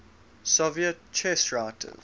soviet chess writers